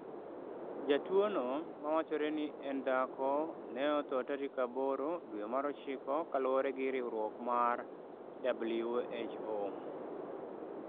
Jatuono, ma wachore ni en dhako, ne otho tarik 8 dwe mar ochiko kaluwore gi riwruok mar WHO.